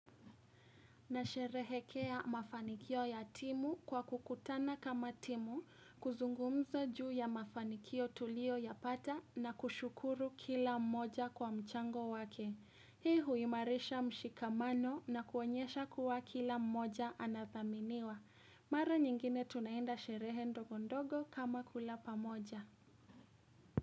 Na sherehekea mafanikio ya timu kwa kukutana kama timu, kuzungumza juu ya mafanikio tulio ya pata na kushukuru kila mmoja kwa mchango wake. Hii huimarisha mshikamano na kuonyesha kuwa kila mmoja anathaminiwa. Mara nyingine tunaenda sherehe ndogondogo kama kula pamoja.